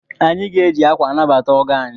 Anyị ga-eji akwa anabata ọgọ anyị.